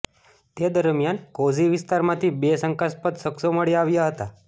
તે દરમિયાન કોઝી વિસ્તારમાંથી બે શંકાસ્પદ શખ્સો મળી આવ્યા હતા